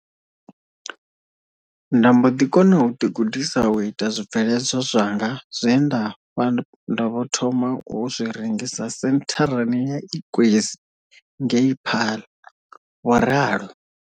Nda mbo ḓi kona u ḓigudisa u ita zwibveledzwa zwanga zwe nda vho thoma u zwi rengisa sentharani ya Ikwezi ngei Paarl, vho ralo.